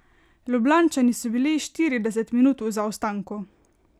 Ljubljančani so bili štirideset minut v zaostanku.